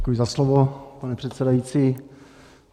Děkuji za slovo, pane předsedající.